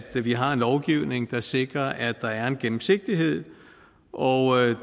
vi har en lovgivning der sikrer at der er en gennemsigtighed